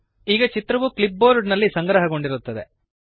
ಈಗ ಚಿತ್ರವು clipboard ನಲ್ಲಿ ಸಂಗ್ರಹಗೊಂಡಿರುತ್ತದೆ